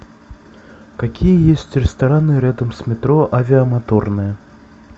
какие есть рестораны рядом с метро авиамоторная